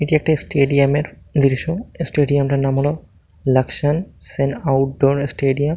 এটি একটি স্টেডিয়াম এর দৃশ্য। স্টেডিয়াম -টির নাম হলো লাক্সসন সেন আউটডোর স্টেডিয়াম ।